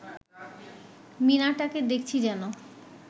মিনারটাকে দেখছি যেন